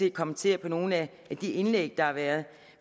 at kommentere nogle af de indlæg der har været